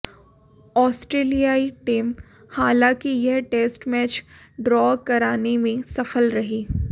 आस्ट्रेलियाई team हालांकि यह test match draw कराने में सफल रही